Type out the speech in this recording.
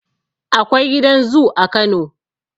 Akwai gidan zu a kano